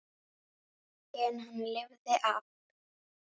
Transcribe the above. Holdið er hvítt og þétt.